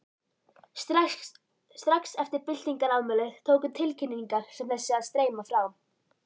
Strax eftir byltingarafmælið tóku tilkynningar sem þessi að streyma frá